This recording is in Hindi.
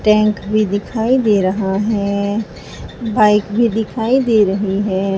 टैंक भी दिखाई दे रहा है। बाइक भी दिखाई दे रही है।